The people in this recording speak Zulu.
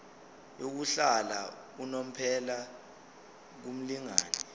yokuhlala unomphela kumlingani